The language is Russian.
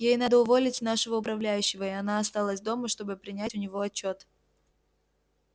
ей надо уволить нашего управляющего и она осталась дома чтобы принять у него отчёт